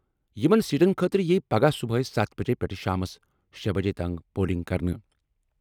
یِمَن سیٹَن خٲطرٕ یِیہِ پگہہ صبحٲے ستھ بجے پٮ۪ٹھ شامَس شےبجے تام پولنگ کرنہٕ۔